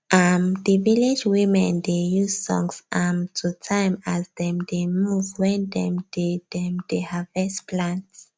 um the village women dey use songs um to time as dem dey move when dem dey dem dey harvest plant